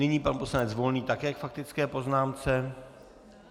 Nyní pan poslanec Volný také k faktické poznámce.